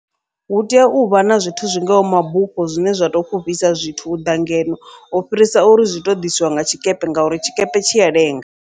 Hu tea uvha na zwithu zwingaho mabufho zwine zwa to fhufhisa zwithu uḓa ngeno, u fhirisa uri zwi to ḓisiwa nga tshikepe ngauri tshikepe tshi ya lenga.